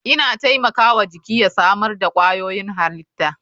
Ina taimaka wa jiki ya samar da kwayoyin halitta.